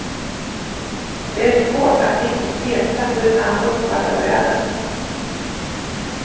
Det är svårt att riktigt veta hur han uppfattar världen.